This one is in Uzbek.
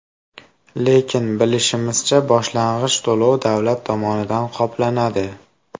Lekin bilishimizcha, boshlang‘ich to‘lov davlat tomonidan qoplanadi.